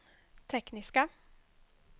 tekniska